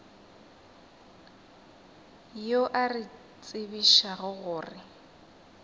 yo a re tsebišago gore